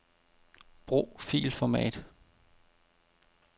Brug filformat.